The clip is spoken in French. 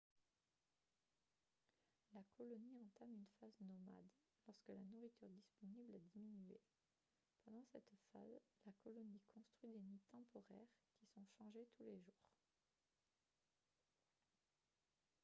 la colonie entame une phase nomade lorsque la nourriture disponible a diminué pendant cette phase la colonie construit des nids temporaires qui sont changés tous les jours